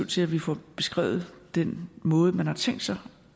til at vi får beskrevet den måde man har tænkt sig